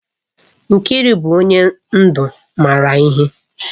Nkiru bu onye ndu mara ihe.